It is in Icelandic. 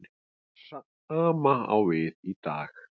Það sama á við í dag.